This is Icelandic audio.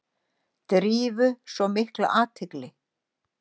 Drífu svona mikla athygli.